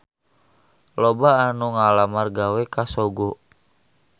Loba anu ngalamar gawe ka Sogo